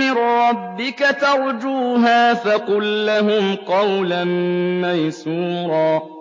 مِّن رَّبِّكَ تَرْجُوهَا فَقُل لَّهُمْ قَوْلًا مَّيْسُورًا